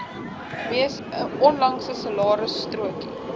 mees onlangse salarisstrokie